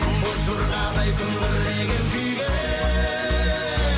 боз жорғадай күмбірлеген күйге